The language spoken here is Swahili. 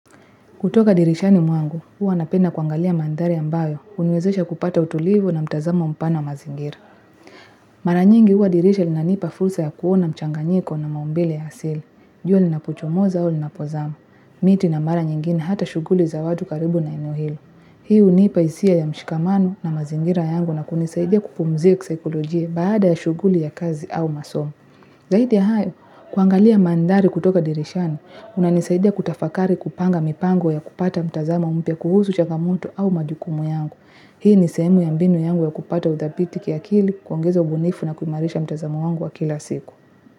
Kutoka dirishani mwangu, huwa napenda kuangalia mandhari ambayo, huniwezesha kupata utulivu na mtazamo mpana mazingira. Mara nyingi huwa dirisha linanipa fursa ya kuona mchanganyiko na maumbile ya asili. Jua linapuchomoza au linapozama, miti na mara nyingine hata shughuli za watu karibu na eneo hilo. Hii hunipa hisia ya mshikamano na mazingira yangu na kunisaidia kupumzika kisaikolojia baada ya shughuli ya kazi au masomo. Zaidi ya hayo, kuangalia mandhari kutoka dirishani, kunanisaidia kutafakari kupanga mipango ya kupata mtazamo mpya kuhusu changamoto au majukumu yangu. Hii ni sehemu ya mbinu yangu ya kupata uthabiti kiakili, kuongeza ubunifu na kuimarisha mtazamo wangu wa kila siku.